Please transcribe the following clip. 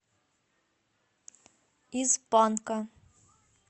из панка